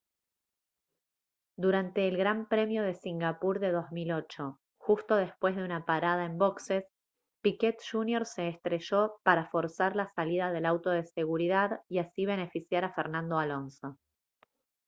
durante el gran premio de singapur de 2008 justo después de una parada en boxes piquet jr se estrelló para forzar la salida del auto de seguridad y así beneficiar a fernando alonso